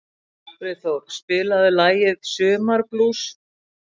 Friðþór, spilaðu lagið „Sumarblús“.